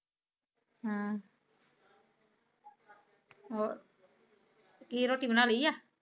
ਹਮ ਹੋਰ ਕੀ ਰੋਟੀ ਬਣਾ ਲੀ ਆ?